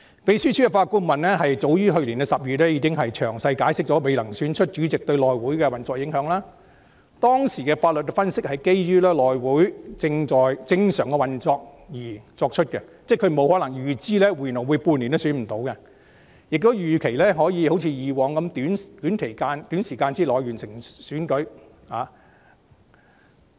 "秘書處法律顧問早於去年10月，已經詳細解釋未能選出主席對內會運作的影響，當時的法律分析是基於內會在正常運作的情況下而作出的"，因為法律顧問不會預知半年內也未能選出主席，所以"預期內會一如以往可以在短時間內完成主席選舉"。